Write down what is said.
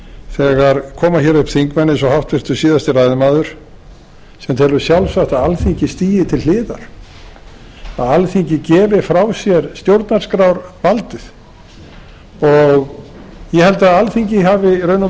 þegar koma hér upp þingmenn eins og háttvirtur síðasti ræðumaður sem telur sjálfsagt að alþingi stigi til hliðar að alþingi gefi frá sér stjórnarskrárvaldið og ég held að alþingi hafi í